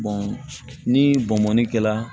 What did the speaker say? ni bɔnbɔnni kɛla